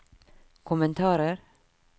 kommentarer